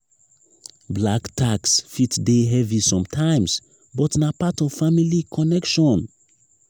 black tax fit dey heavy sometimes but na part of family connection.